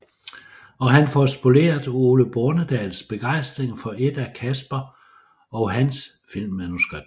Og han får spoleret Ole Bornedals begejstring for et af Casper og hans filmmanuskripter